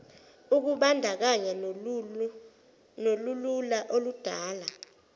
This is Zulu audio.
ukubandakanya nolulula okudala